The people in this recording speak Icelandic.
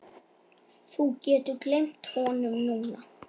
Þú getur gleymt honum núna